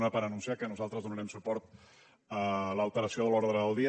una per anunciar que nosaltres donarem suport a l’alteració de l’ordre del dia